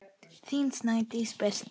Þín Snædís Birta.